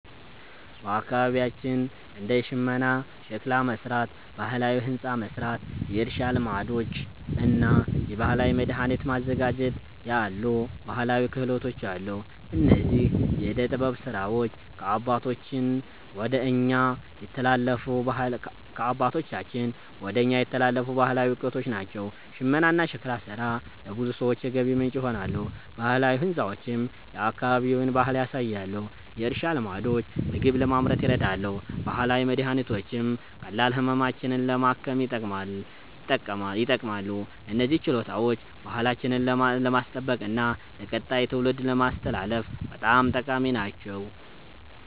በአካባቢያችን እንደ ሽመና፣ ሸክላ መሥራት፣ ባህላዊ ሕንፃ መሥራት፣ የእርሻ ልማዶች እና የባህላዊ መድኃኒት ማዘጋጀት ያሉ ባህላዊ ክህሎቶች አሉ። እነዚህ የዕደ ጥበብ ሥራዎች ከአባቶቻችን ወደ እኛ የተላለፉ ባህላዊ እውቀቶች ናቸው። ሽመናና ሸክላ ሥራ ለብዙ ሰዎች የገቢ ምንጭ ይሆናሉ፣ ባህላዊ ሕንፃዎችም የአካባቢውን ባህል ያሳያሉ። የእርሻ ልማዶች ምግብ ለማምረት ይረዳሉ፣ ባህላዊ መድኃኒቶችም ቀላል ህመሞችን ለማከም ይጠቅማሉ። እነዚህ ችሎታዎች ባህላችንን ለማስጠበቅና ለቀጣይ ትውልድ ለማስተላለፍ በጣም ጠቃሚ ናቸው።